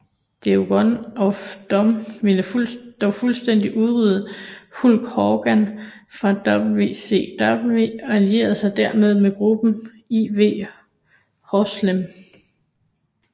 Dungeon of Doom ville dog fuldstændigt udrydde Hulk Hogan fra WCW og allierede sig dermed med gruppen IV Horsemen